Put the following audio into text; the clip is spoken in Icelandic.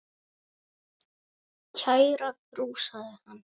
Kæra frú, sagði hann.